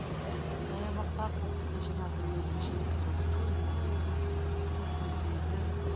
саябақтағы қоқысты жинап жүрген көше сыпырушысы өзін өзін күңкілдейді